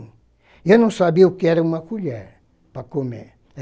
E eu não sabia o que era uma colher para comer.